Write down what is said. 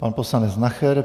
Pan poslanec Nacher.